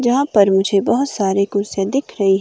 यहां पर मुझे बहुत सारे कुर्सियां दिख रही हैं।